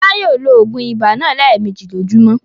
Fọlá yóò lo òògùn ibà náà lẹ́ẹ̀mejì lójúmọ́!